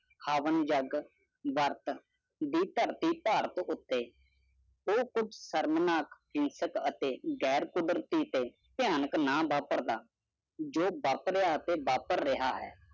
ਹਵਨ ਜੱਗ ਵਾਰਟ ਬੀਟਰ ਤੇਟਰ ਤੋ ਉਟੀ ਊਹ ਕੁਜ਼ ਸ਼ਮਾਨਕ ਗਹਿਰ ਪ੍ਰਦਰੁਤਿ ਤੈ ਦੇਹ ਨ ਬਾਪਕਾਰ ਦਾ ਜਿਹਨੇ ਬੇਪਰ ਲਾਤੀ ਬੇਪਰ